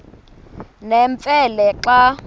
nemfe le xa